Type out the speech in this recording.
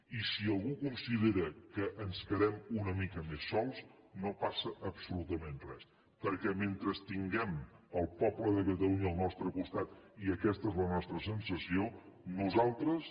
i si algú considera que ens quedem una mica més sols no passa absolutament res perquè mentre tinguem el poble de catalunya al nostre costat i aquesta és la nostra sensació nosaltres